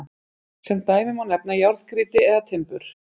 sem dæmi má nefna járngrýti eða timbur